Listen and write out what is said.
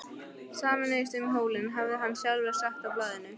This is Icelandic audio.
Sameinumst um hólinn, hafði hann sjálfur sagt í blaðinu.